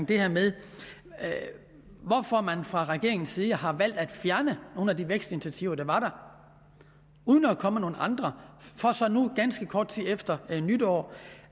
det her med at man fra regeringens side har valgt at fjerne nogle af de vækstinitiativer der var der uden at komme med nogle andre for så nu ganske kort tid efter nytår